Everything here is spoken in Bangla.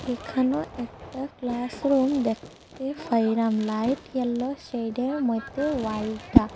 এখানো একটা ক্লাসরুম দেখতে ফাইরাম লাইট ইয়ালো শেইডের মধ্যে ওয়ালটা।